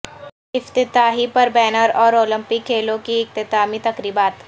افتتاحی پر بینر اور اولمپک کھیلوں کی اختتامی تقریبات